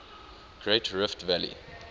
great rift valley